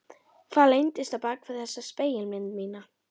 Hvað leyndist á bak við þessa spegilmynd mína?